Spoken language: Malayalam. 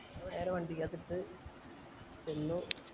നേരെ വണ്ടിക്കകത്ത് ഇട്ടിട് പിന്നെ